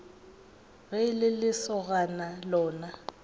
ge e le lesogana lona